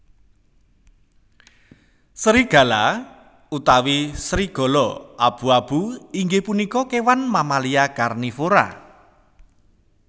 Sérigala utawi sérigala abu abu inggih punika kèwan mamalia karnivora